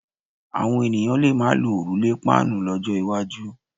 Àwọn ènìyàn lè má lo òrùlé páànù lọ́jọ́ iwájú.